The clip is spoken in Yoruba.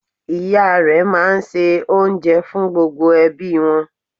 Ìya rẹ máa n se oúnjẹ fún gbogbo ẹbí wọn